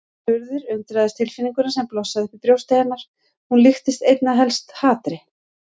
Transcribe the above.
Urður undraðist tilfinninguna sem blossaði upp í brjósti hennar, hún líktist einna helst hatri.